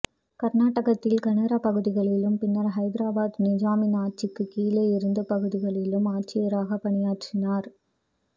கர்நாடகத்தில் கனரா பகுதிகளிலும் பின்னர் ஹைதராபாத் நைஜாமின் ஆட்சிக்கு கீழே இருந்த பகுதிகளிலும் ஆட்சியராகப் பணியாற்றினார்